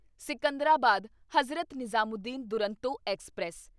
Secunderabad Hazrat Nizamuddin Duronto express